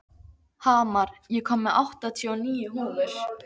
Hamar, ég kom með áttatíu og níu húfur!